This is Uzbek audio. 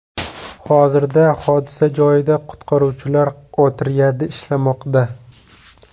Hozirda hodisa joyida qutqaruvchilar otryadi ishlamoqda.